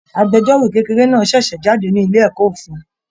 Agbẹ̀jọ́ro kékeré náà ṣẹṣẹ jáde nílé ẹ̀kọ́ ofin.